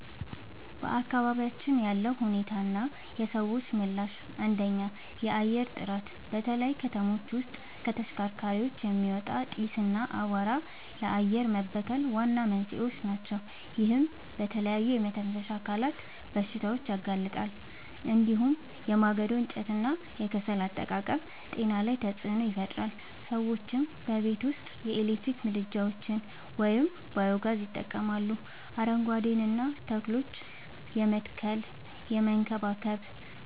በአካባቢያችን ያለው ሁኔታና የሰዎች ምላሽ፦ 1. የአየር ጥራት፦ በተለይ ከተሞች ውስጥ ከተሽከርካሪዎች የሚወጣ ጢስ እና አቧራ ለአየር መበከል ዋና መንስኤዎች ናቸው። ይህም ለተለያዩ የመተንፈሻ አካላት በሽታዎች ያጋልጣል። እንዲሁም የማገዶ እንጨትና የከሰል አጠቃቀም ጤና ላይ ተጽዕኖ ይፈጥራል። ሰዎችም በቤት ውስጥ የኤሌክትሪክ ምድጃዎችን ወይም ባዮ-ጋዝ ይጠቀማሉ፣ አረንጓዴ ተክሎችን የመትከልና የመንከባከብ